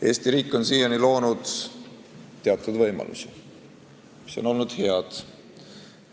Eesti riik on loonud teatud võimalusi, mis on olnud head.